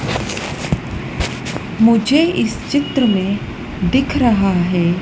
मुझे इस चित्र में दिख रहा है।